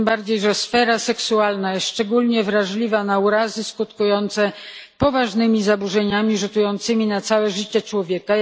Tym bardziej że sfera seksualna jest szczególnie wrażliwa na urazy skutkujące poważnymi zaburzeniami rzutującymi na całe życie człowieka.